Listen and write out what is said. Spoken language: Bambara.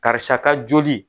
Karisa ka joli.